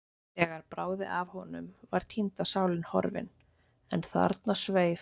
Þegar bráði af honum var týnda sálin horfin, en þarna sveif